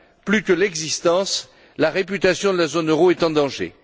Plus que l'existence, c'est la réputation de la zone euro qui est en danger.